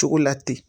Cogo la ten